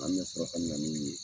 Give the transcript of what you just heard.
An bɛ sɔrɔ ka na n'u ye.